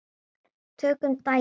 Tökum dæmi